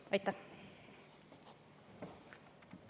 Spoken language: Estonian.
Aitäh!